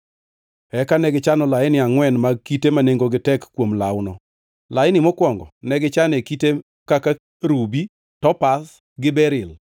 Eka negichano laini angʼwen mag kite ma nengogi tek kuom lawno. Laini mokwongo ne gichane kite kaka rubi, topaz gi beril;